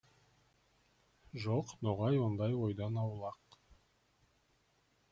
жоқ ноғай ондай ойдан аулақ